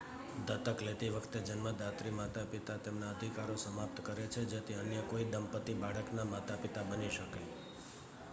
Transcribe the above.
દત્તક લેતી વખતે જન્મદાત્રી માતા-પિતા તેમના અધિકારો સમાપ્ત કરે છે જેથી અન્ય કોઈ દંપતી બાળકના માતા-પિતા બની શકે